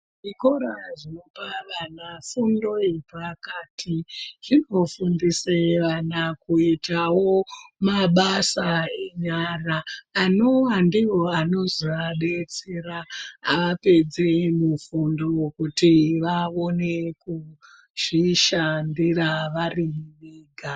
Zvikora zvinopa vana fundo yepakati zvinofundisawo vana kuita mabasa enyara anozoes anozoabatsira apedza mufundo wekuti vaone kuzvishandira vari vega.